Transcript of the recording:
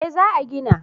Eh za a gina